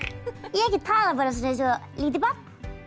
ég get talað eins og lítið barn